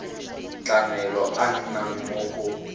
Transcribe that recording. tlamelo a nnang mo go